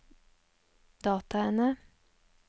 dataene